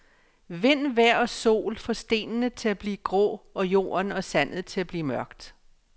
Vind, vejr og sol får stenene til at blive grå og jorden og sandet til at blive mørkt.